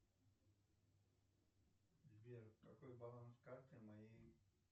сбер какой баланс карты моей